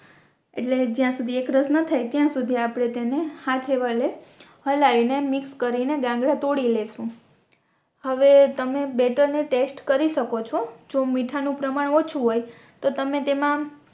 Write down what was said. એટલે જ્યાં સુધી એકરસ ના થાય ત્યાં સુધી આપણે તેને હાથ એ વળે હલાઈ ને મિક્સ કરીને ગાંગરા તોડી લેશું હવે તમે બેટર ને ટેસ્ટ કરી શકો છો જો મીઠા નું પ્રમાણ ઓછું હોય તો તમે તેમા